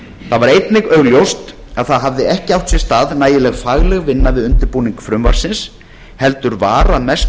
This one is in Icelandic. var einnig augljóst að ekki hafði átt sér stað nægileg fagleg vinna við undirbúning frumvarpsins heldur var að mestu